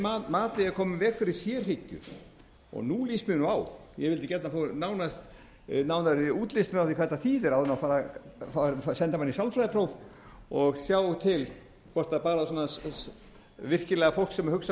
mat eigi að koma í veg fyrir sérhyggju og nú líst mér á ég vildi gjarnan fá nánari útlistun á því hvað þetta þýðir áður en farið er að senda mann í sálfræðipróf og sjá til hvort það er virkilega fólk sem hugsar